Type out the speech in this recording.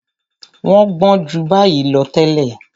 Wọ́n gbọ́n ju báyìí lọ tẹ́lẹ̀.